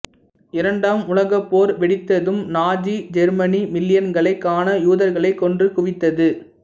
இரண்டாம் உலகப் போர் வெடித்ததும் நாஜி ஜெர்மனி மில்லியன்கணக்கான யூதர்களை கொன்று குவித்தது